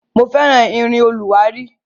Mo fẹ́ràn irin olùwárí.